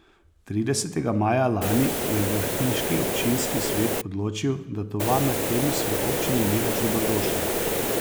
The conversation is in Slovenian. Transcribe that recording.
Tridesetega maja lani je vrhniški občinski svet odločil, da tovarna Kemis v občini ni več dobrodošla.